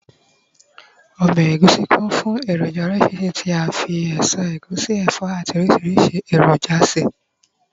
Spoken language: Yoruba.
obe egusi kún fún eroja orísirísi ti a fi eso egusi, ẹfọ ati orisi eroja se